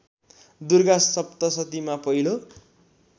दुर्गा सप्तशतीमा पहिलो